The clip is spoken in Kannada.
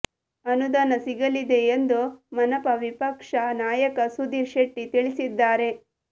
ಅನುದಾನ ಸಿಗಲಿದೆ ಎಂದು ಮನಪಾ ವಿಪಕ್ಷ ನಾಯಕ ಸುಧೀರ್ ಶೆಟ್ಟಿ ತಿಳಿಸಿದ್ದಾರೆ